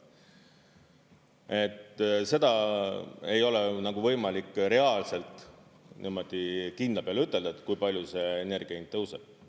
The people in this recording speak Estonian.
Et seda ei ole nagu võimalik reaalselt niimoodi kindla peale ütelda, kui palju see energia hind tõuseb.